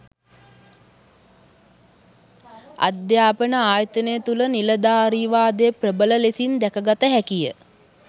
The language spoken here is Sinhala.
අධ්‍යාපන ආයතන තුළ නිලධාරීවාදය ප්‍රබල ලෙසින් දැකගත හැකිය